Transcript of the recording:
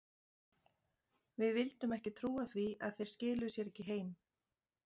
Við vildum ekki trúa því að þeir skiluðu sér ekki heim.